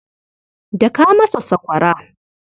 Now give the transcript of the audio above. Daka masa sakwara.